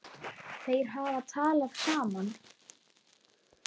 Þeir hafa talað saman.